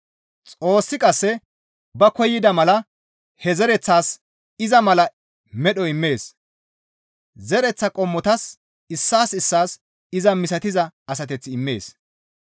Xoossi qasse ba koyida mala he zereththaas iza mala medho immees; zereththaa qommotas issaas issaas iza misatiza asateth immees.